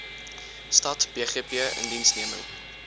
stad bgp indiensneming